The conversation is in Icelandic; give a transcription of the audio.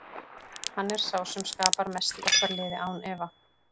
Hann er sá sem skapar mest í okkar liði, án efa.